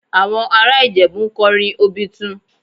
Àwọn ará Ìjẹ̀bú ń kọrin Obitun